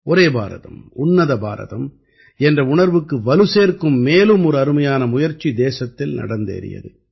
ஒரே பாரதம் உன்னத பாரதம் என்ற உணர்வுக்கு வலு சேர்க்கும் மேலும் ஒரு அருமையான முயற்சி தேசத்தில் நடந்தேறியது